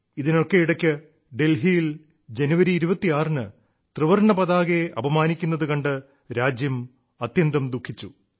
ഇതിനൊക്കെ ഇടയ്ക്ക് ഡൽഹിയിൽ ജനുവരി 26 ന് ത്രിവർണ്ണ പതാകയെ അപമാനിക്കുന്നതു കണ്ട് രാജ്യം അത്യന്തം ദുഃഖിച്ചു